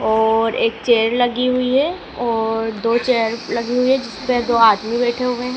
और एक चेयर लगी हुई है और दो चेयर लगी हुई है जिसपे दो आदमी बैठे हुए हैं।